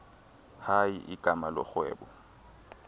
hayi igama lorhwebo